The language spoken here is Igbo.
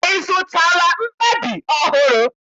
I zụtala mkpabi ọhụrụ?